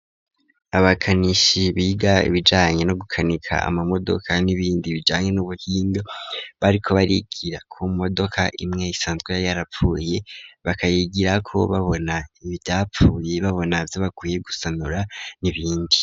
Abakanishi biga ibijanye no gukanika ama modoka n'ibindi bijanye n'ubuhinga bariko barigira ku modoka imwe isanzwe yarapfuye bakayigirako babona ivyapfuye babona zo bakwiye gusanura n'ibindi.